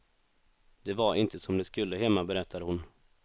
Det var inte som det skulle hemma, berättar hon.